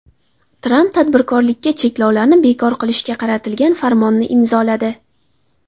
Tramp tadbirkorlikka cheklovlarni bekor qilishga qaratilgan farmonni imzoladi.